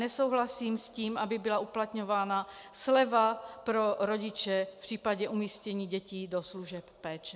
Nesouhlasím s tím, aby byla uplatňována sleva pro rodiče v případě umístění dětí do služeb péče.